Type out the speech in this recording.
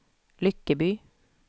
Lyckeby